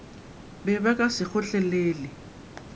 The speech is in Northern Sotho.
be ba ka se kgotlelele